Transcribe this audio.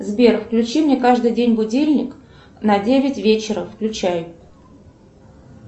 сбер включи мне каждый день будильник на девять вечера включай